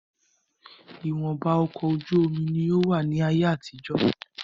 Ìwọ̀nba ọkọ̀ ojú omi ní ó wà ní ayé àtijó